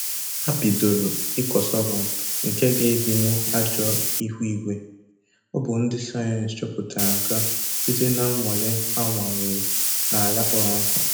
Ha bidoro ịkọ sọgọm nke ga-edinwu ajọ ihu-igwe. Ọ bụ ndị sayensị chọpụtara nke a site na nnwale ha nwalere na ala kpọrọ nkụ